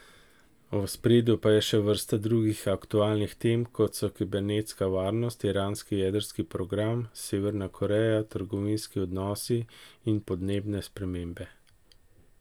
V ospredju pa je še vrsta drugih aktualnih tem, kot so kibernetska varnost, iranski jedrski program, Severna Koreja, trgovinski odnosi in podnebne spremembe.